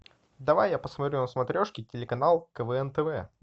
давай я посмотрю на смотрешке телеканал квн тв